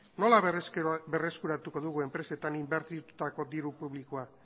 nola berreskuratuko dugu enpresetan inbertitutako diru publikoa